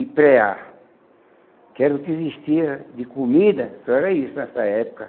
e pré-ar, que era o que existia de comida, só era isso nessa época.